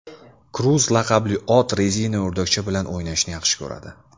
Kruz laqabli ot rezina o‘rdakcha bilan o‘ynashni yaxshi ko‘radi.